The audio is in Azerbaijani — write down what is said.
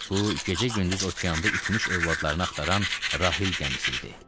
Bu gecə-gündüz okeanda itmiş övladlarını axtaran Rahil gəmisi idi.